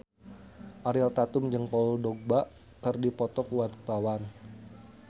Ariel Tatum jeung Paul Dogba keur dipoto ku wartawan